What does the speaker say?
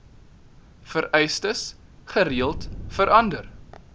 vereistes gereeld verander